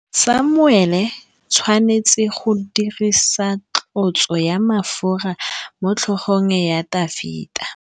Samuele o tshwanetse go dirisa tlotsô ya mafura motlhôgong ya Dafita.